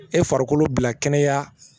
E farikolo bila kɛnɛya